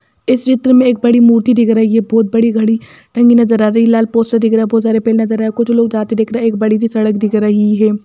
इस चित्र में एक बड़ी मूर्ति दिख रही है बहुत बड़ी घड़ी ढंगी नजर आ रही है लाल पोस्टर दिख रहा है बहुत सारे पेड़ नजर आ रहा है कुछ लोग जाते दिख रहा है एक बड़ी सी सड़क दिख रही है।